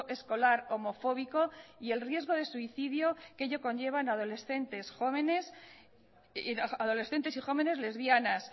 escolar homofóbico y el riesgo de suicidio que ello conlleva en adolescentes y jóvenes lesbianas